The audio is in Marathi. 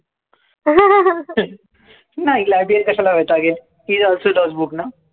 नाही. librarian कशाला वैतागेल he is also does book ना